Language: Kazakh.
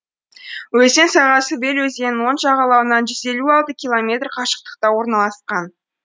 өзен сағасы вель өзенінің оң жағалауынан жүз елу алты километр қашықтықта орналасқан